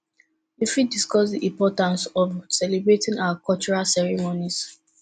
you fit discuss di importance of celebrating our cultural ceremonies